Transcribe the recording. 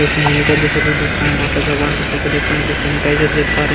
जैसा कुछ देख पा रहे हैं और बहुत सारे भगवान् का कुछ देख पा रहे हैं कुछ देख पा रहे हैं।